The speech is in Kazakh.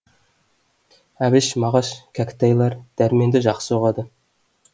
әбіш мағаш кәкітайлар дәрменді жақсы ұғады